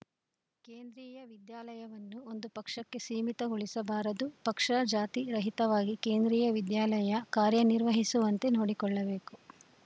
ಕೇಂದ್ರೀಯ ವಿದ್ಯಾಲಯವನ್ನು ಒಂದು ಪಕ್ಷಕ್ಕೆ ಸೀಮಿತಗೊಳಿಸಬಾರದು ಪಕ್ಷ ಜಾತಿ ರಹಿತವಾಗಿ ಕೇಂದ್ರೀಯ ವಿದ್ಯಾಲಯ ಕಾರ್ಯ ನಿರ್ವಹಿಸುವಂತೆ ನೋಡಿಕೊಳ್ಳಬೇಕು